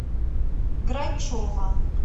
грачева